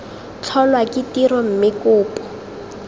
tlholwa ke tiro mme kopo